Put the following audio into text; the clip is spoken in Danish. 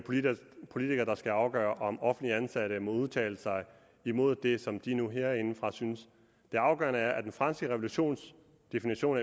politikere der skal afgøre om offentligt ansatte må udtale sig imod det som de nu herindefra synes det afgørende er at den franske revolutions definition